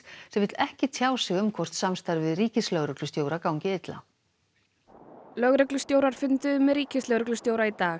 sem vill ekki tjá sig um hvort samstarfið við ríkislögreglustjóra gangi illa lögreglustjórar funduðu með ríkislögreglustjóra í dag